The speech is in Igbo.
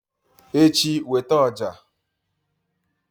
echi, weta ọjà!